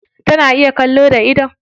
Tana iya kallo da idon?